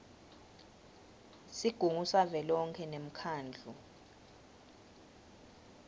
sigungu savelonkhe nemkhandlu